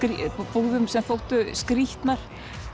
búðum sem þóttu skrýtnar